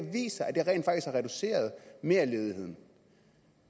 reduceret merledigheden